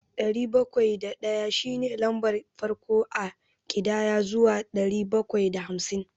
Ɗari bakwai da ɗaya shi ne lambar farko a ƙidaya zuwa ɗari bakwai da hamsin.